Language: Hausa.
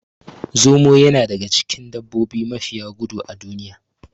Zomo yana daga cikin dabbobi mafiya gudu a duniya